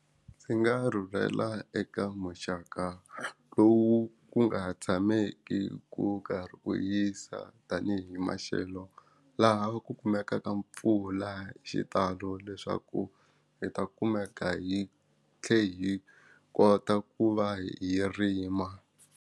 Ndzi nga rhurhela eka muxaka lowu ku nga tshameki ku karhi ku yisa tanihi maxelo laha ku kumekaka mpfula hi xitalo leswaku hi ta kumeka hi thle hi kota ku va hi rima.